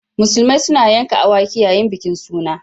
Musulmai suna yanka awaki yayin bikin suna.